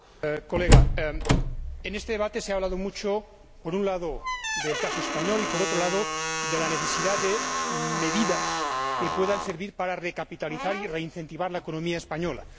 Señor Zalba, en este debate se ha hablado mucho, por un lado, del caso español y, por otro lado, de la necesidad de medidas que puedan servir para recapitalizar y reincentivar la economía española.